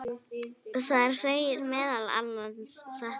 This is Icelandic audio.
Þar segir meðal annars þetta